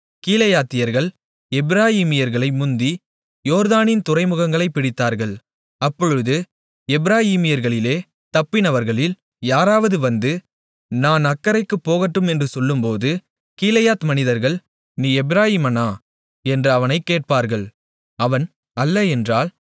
கீலேயாத்தியர்கள் எப்பிராயீமர்களை முந்தி யோர்தானின் துறைமுகங்களைப் பிடித்தார்கள் அப்பொழுது எப்பிராயீமர்களிலே தப்பினவர்களில் யாராவது வந்து நான் அக்கரைக்குப் போகட்டும் என்று சொல்லும்போது கீலேயாத் மனிதர்கள் நீ எப்பிராயீமனா என்று அவனைக் கேட்பார்கள் அவன் அல்ல என்றால்